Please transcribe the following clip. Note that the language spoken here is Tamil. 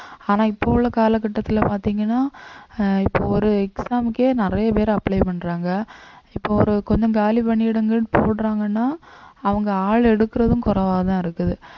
ஆனா இப்ப உள்ள கால கட்டத்துல பாத்தீங்கன்னா ஆஹ் இப்ப ஒரு exam க்கே நிறைய பேர் apply பண்றாங்க இப்போ ஒரு கொஞ்சம் காலி பணியிடங்கள்ன்னு போடுறாங்கன்னா அவங்க ஆள் எடுக்குறதும் குறைவாதான் இருக்குது